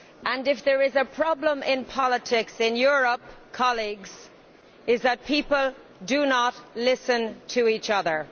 And if there is a problem in politics in Europe, colleagues, it is that people do not listen to each other.